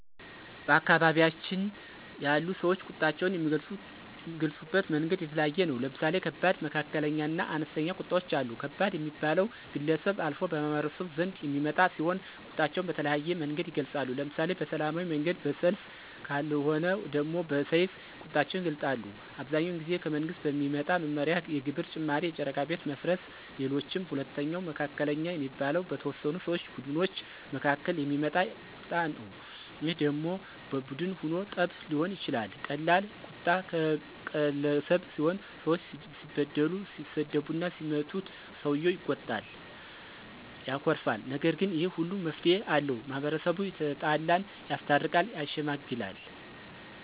በአካባቢያችን ያሉ ሰወች ቁጣቸውን የሚገልፁበት መንገድ የተለያየ ነው። ለምሳሌ ከባድ፣ መካከለኛ እና አነስተኛ ቁጣወች አሉ። ከባድ ሚባለው ከግለሰብ አልፎ በማህበረሰቡ ዘንድ የሚመጣ ሲሆን ቁጣቸውን በተለያየ መንገድ ይገልፃሉ። ለምሳሌ በሰላማዊ መንገድ በሰልፍ ከልወነ ደሞ በሰይፍ ቁጣቸውን ይገልጣሉ። አብዛኛውን ጊዜ ከመንግስት በሚመጣ መመሪያ የግብር ጭማሪ የጨረቃ ቤት መፍረስ ሌሎችም። ሁለተኛው መካከለኛ የሚባለው በተወሰኑ ሰው ቡድኖች መካከል የሚመጣ ቀጣ ነው ይህ ደሞ በቡን ሁኖ ጠብ ሊሆን ይችላል ቀላል ቁጣ ቀገለሰብ ሲሆን ሰወች ሲበድሉት ሲሰድቡትና ሲመቱት ሰውየው ይቆጣል ያኮርፋል። ነገር ግን ይህ ሁሉ መፍትሄ አለው። ማህበረሰቡ የተጣላን ያስታርቃል። ያሸመግላል